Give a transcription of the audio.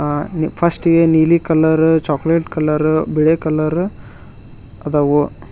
ಅ first ಗೆ ನೀಲಿ colour chocolate colour ಬಿಳೆ ಕಲರ್ ಅದವು.